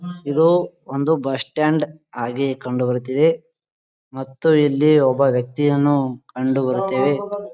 ಇದು ಒಂದು bus stand ಹಾಗೆ ಕಂಡುಬರುತ್ತಿದೆ ಮತ್ತು ಇಲ್ಲಿ ಒಬ್ಬ ವ್ಯಕ್ತಿಯನ್ನು ಕಂಡುಬರುತ್ತೇವೆ .